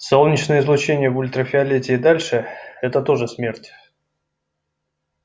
солнечное излучение в ультрафиолете и дальше это тоже смерть